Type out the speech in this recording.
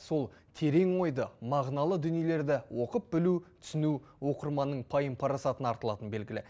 сол терең ойды мағыналы дүниелерді оқып білу түсіну оқырманның пайым парасатына артылатыны белгілі